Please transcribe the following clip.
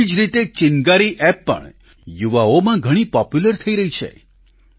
તેવી જ રીતે ચિન્ગારી એપ પણ યુવાઓમાં ઘણી પોપ્યુલર થઈ રહી છે